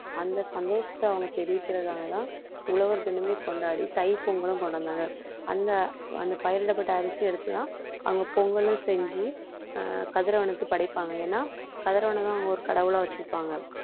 அந்த சந்தோஷத்தை அவங்க தெரிவிக்கிறதாலதான் உழவர் தினமே கொண்டாடி தைப்பொங்கலும் கொண்டு வந்தாங்க. அந்த அந்த பயிரிடப்பட்ட அரிசியை எடுத்துதான அவங்க பொங்கலும் செஞ்சு ஆஹ் கதிரவனுக்கு படைப்பாங்க ஏன்னா கதிரவனைதான் அவங்க ஒரு கடவுளா வச்சுருப்பாங்க